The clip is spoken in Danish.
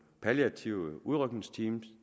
palliative udrykningsteam